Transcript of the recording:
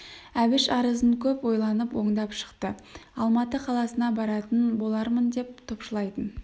әбіш арызын көп ойланып оңдап шықты алматы қаласына баратын болармын деп топшылайтын